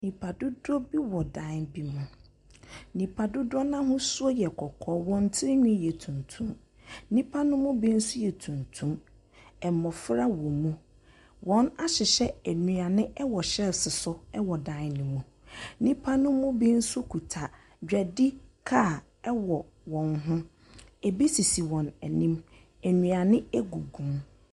Nnipa dodoɔ bi dan bi mu, nnipa dodoɔ no ahosuo yɛ kɔkɔɔ, hɔn tirihwi yɛ tuntum, nnipa ne bi nso yɛ tuntum, mmɔfra wɔm. wɔahyehyɛ nnuane wɔ shelves so wɔ dan ne mu. Nnipa ne bi nso kita dwadi kaa wɔ wɔn ho, bi sisi wɔn anim, nnuane gugu mu.